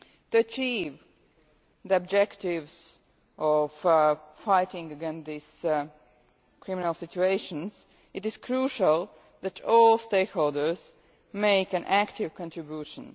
To achieve the objectives of fighting against these criminal situations, it is crucial that all stakeholders make an active contribution.